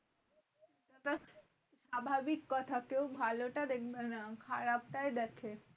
স্বাভাবিক কথা কেউ ভালোটা দেখবে না খারাপটাই দেখে।